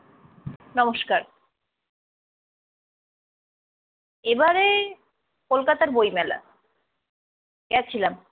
নমষ্কার। এবারে কলকাতার বইমেলা গেছিলাম।